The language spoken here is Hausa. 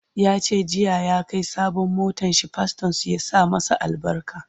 yace jiya ya Kai sabon motanshi pastorn su ya sa masa albarka